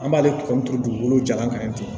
An b'ale ka min tugu dugukolo jalan kan ten